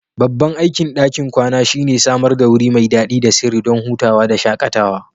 Babban aikin ɗakin kwana shine samar da wuri mai dadi da sirri don hutawa da shakatawa